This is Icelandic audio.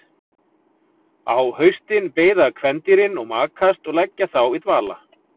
Á haustin beiða kvendýrin og makast og leggjast þá í dvala.